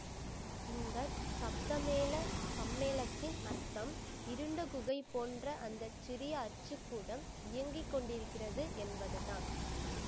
இந்த சப்தமேள சம்மேளத்தின் அர்த்தம் இருண்ட குகை போன்ற அந்த சிறிய அச்சுக்கூடம் இயங்கி கொண்டிருக்கிறது என்பதுதான்